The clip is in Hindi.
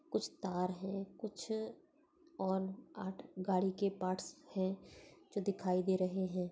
कुछ तार है कुछ और आठ गाड़ी के पार्ट्स है जो दिखाई दे रहे है।